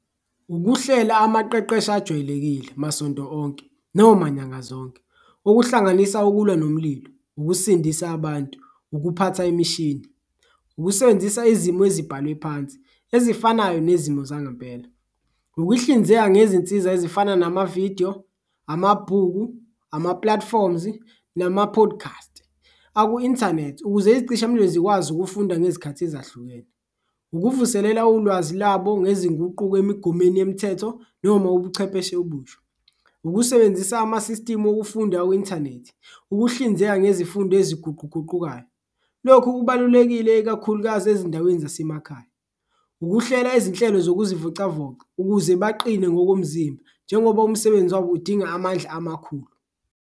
Ukuhlela amaqeqesho ajwayelekile masonto onke noma nyanga zonke okuhlanganisa ukulwa nomlilo, ukusindisa abantu, ukuphatha imishini, ukusebenzisa izimo ezibhalwe phansi ezifanayo nezimo zangempela. Ukuhlinzeka ngezinsiza ezifana namavidiyo, amabhuku, ama-platforms, nama-podcast aku-inthanethi ukuze izicishamlilo zikwazi ukufunda ngezikhathi ezahlukene. Ukuvuselela ulwazi labo ngezinguquko emigomeni yemthetho noma ubuchepheshe obusha, ukusebenzisa amasisitimu okufunda ku-inthanethi, ukuhlinzeka ngezifundo eziguquguqukayo, lokhu kubalulekile ikakhulukazi ezindaweni zasemakhaya. Ukuhlela izinhlelo zokuzivocavoca ukuze baqine ngokomzimba njengoba umsebenzi wabo udinga amandla amakhulu.